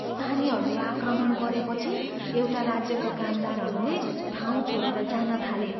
स्थानीयहरूले आक्रमण गरेपछि एउटा राज्यका कामदारहरूले ठाउँ छाडेर जान थाले।